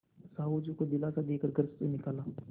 साहु जी को दिलासा दे कर घर से निकाला